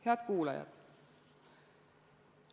Head kuulajad!